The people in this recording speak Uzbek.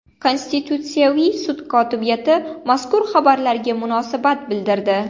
Konstitutsiyaviy sud kotibiyati mazkur xabarlarga munosabat bildirdi .